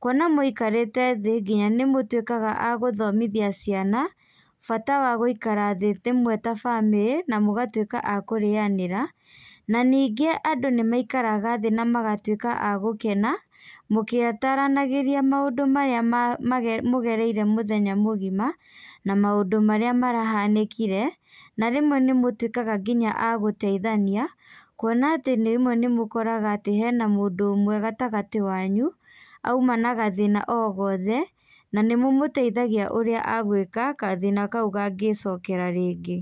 kuona mũikarĩte thĩ nginya nĩmũtuĩkaga a gũthomithia ciana, bata wa gũikara thĩ rĩmwe ta bamĩrĩ, na mũgatuĩka a kũrĩanĩra, na ningĩ andũ nĩmaikaraga thĩ namagatuĩka a gũkena, mũkĩtaranagĩria maũndũ marĩa ma ma mũgereire mũthenya mũgima, na maũndũ marĩa marahanĩkire, na rĩmwe nĩmũtuĩkaga nginya agũteithania, kuona atĩ rĩmwe nĩmũkoraga atĩ hena mũndũ ũmwe gatagatĩ wanyu, auma na gathĩna o gothe, na nĩ mũmũteithagi ũrĩa agwĩka gathĩna kau kangĩcokera rĩngĩ.